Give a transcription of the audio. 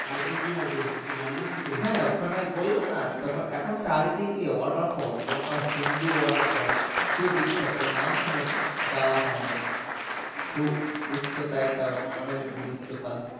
আর কি কি আছে কিছু জানা আছে হ্যাঁ ওখানে বললাম না এখন চারি দিকে water falls যেমন তোমার হুঙরু water falls খুবই বিখ্যাত নাম শুনেছি যাওয়া হয় না খুব উচ্চতাই তাও অনেক দূর উচ্চতা।